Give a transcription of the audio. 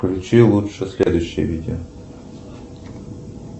включи лучше следующее видео